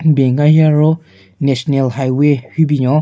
Ben ka hi aro national highway hyu binyon.